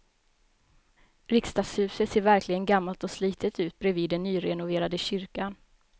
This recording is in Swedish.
Riksdagshuset ser verkligen gammalt och slitet ut bredvid den nyrenoverade kyrkan.